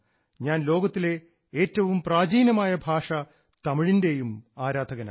ഞാൻ ലോകത്തിലെ ഏറ്റവും പ്രാചീനമായ തമിഴിൻറെയും ആരാധകനാണ്